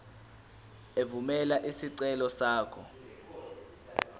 evumela isicelo sakho